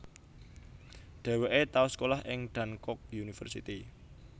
Dheweke tau sekolah ing Dankook University